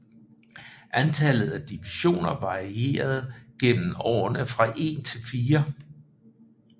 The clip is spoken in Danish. Antallet af divisioner varierede gennem årene fra en til fire